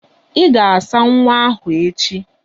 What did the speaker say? Ị ga-asa nwa ahụ echi!